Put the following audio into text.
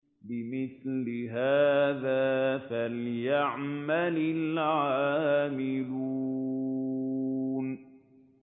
لِمِثْلِ هَٰذَا فَلْيَعْمَلِ الْعَامِلُونَ